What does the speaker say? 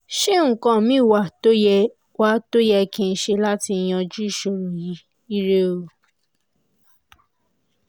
ṣé nǹkan míì wà tó yẹ wà tó yẹ kí n ṣe láti yanjú ìṣòro yìí? ire o